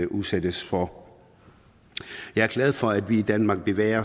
udsættes for jeg er glad for at vi i danmark bevæger